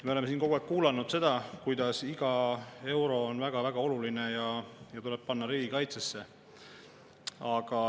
Me oleme siin kogu aeg kuulnud, et iga euro on väga-väga oluline ja tuleb panna riigikaitsesse.